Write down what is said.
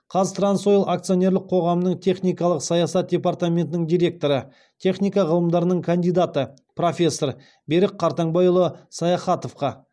қазтрансойл акционерлік қоғамының техникалық саясат департаментінің директоры техника ғылымдарының кандидаты профессор берік қартаңбайұлы саяхатовқа